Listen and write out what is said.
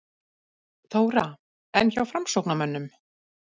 Þóra: En hjá framsóknarmönnum?